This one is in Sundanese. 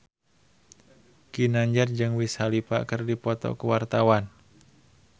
Ginanjar jeung Wiz Khalifa keur dipoto ku wartawan